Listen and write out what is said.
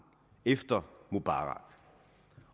efter mubarak